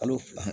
Kalo fila